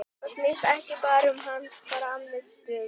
Þetta snýst ekki bara um hans frammistöðu.